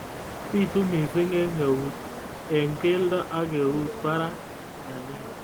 Bitu missing eng keldo ak keut barak